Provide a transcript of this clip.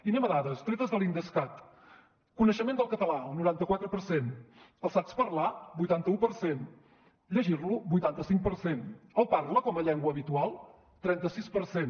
i anem a dades tretes de l’idescat coneixement del català el noranta quatre per cent el saps parlar vuitanta un per cent llegir lo vuitanta cinc per cent el parla com a llengua habitual trenta sis per cent